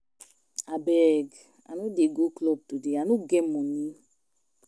Abeg I no dey go club today I no get money